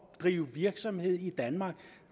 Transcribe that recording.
drive virksomhed i danmark